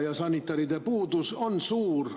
Ja sanitaride puudus on suur.